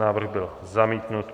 Návrh byl zamítnut.